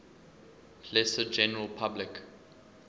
lesser general public